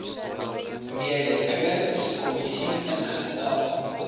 mededingings kommissie ingestel